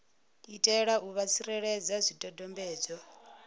itela u vha tsireledza zwidodombedzwa